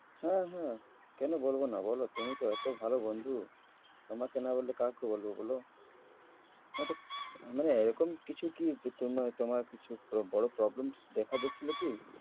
হ্যাঁ হ্যাঁ, কেন বলব না বল তুমি তো এত ভালো বন্ধু তোমাকে না বললে কাকে বলব বল? হ্যাঁ তো মানে এরকম কিছু কী যে তোমা~ তোমার কিছু ব~ বড় problems দেখা দিচ্ছিল কি?